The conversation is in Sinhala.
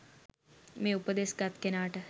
මේ උපදෙස් ගත් කෙනාට